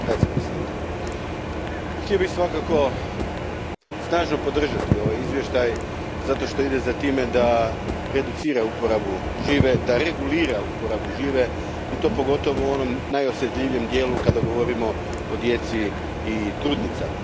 Poštovani predsjedniče, htio bih svakako snažno podržati ovaj izvještaj zato što ide za tim da reducira uporabu žive, da regulira uporabu žive i to pogotovo u onom najosjetljivijem dijelu kada govorimo o djeci i trudnicama.